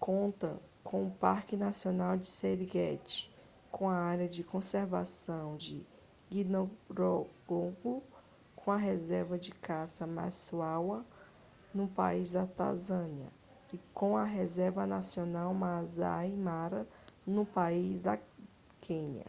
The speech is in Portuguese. conta com o parque nacional do serengeti com a área de conservação de ngorongoro com a reserva de caça maswa no país da tanzânia e com a reserva nacional maasai mara no país da quênia